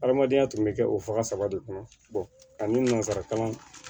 Adamadenya tun bɛ kɛ o faga saba de kɔnɔ ani nansaraka